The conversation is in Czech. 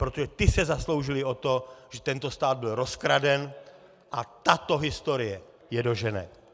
Protože ti se zasloužili o to, že tento stát byl rozkraden, a tato historie je dožene!